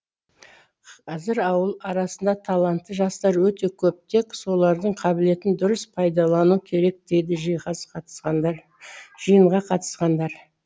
қазір ауыл арасында талантты жастар өте көп тек солардың қабілетін дұрыс пайдалану керек дейді жиынға қатысқандар